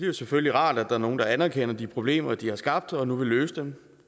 jo selvfølgelig rart at der er nogle der anerkender de problemer de har skabt og nu vil løse dem